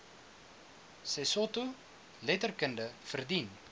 sesotho letterkunde verdien